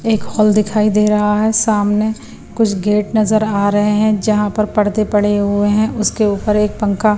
एक हॉल दिखाई दे रहा है सामने कुछ गेट नजर आ रहे हैं जहां पर पर्दे पड़े हुए हैं उसके ऊपर एक पंखा--